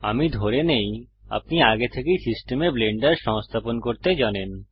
আমি ধরে নেই আপনি আগে থেকেই সিস্টেমে ব্লেন্ডার সংস্থাপন করতে জানেন